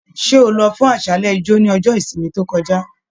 Ṣe o lọ fún aṣálẹ ijo ni ọjọ ìsinmi to kọjá?